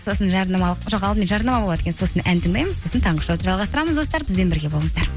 сосын жарнамалық жоқ алдымен жарнама болады екен сосын ән тыңдаймыз сосын таңғы шоуды жалғастырамыз достар бізбен бірге болыңыздар